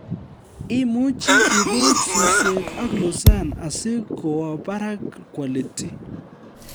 Imuchi iburuch susweek ak Lucerne asi kowo barak quality